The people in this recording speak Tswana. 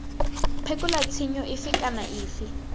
phekola tshenyo efe kana efe